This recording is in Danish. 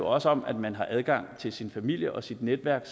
også om at man har adgang til sin familie og sit netværk